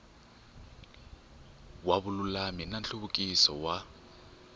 wa vululami na nhluvukiso wa